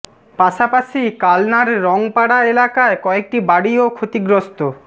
পাশাপাশি কালনার রং পাড়া এলাকায় কয়েকটি বাড়ি ও ক্ষতিগ্রস্ত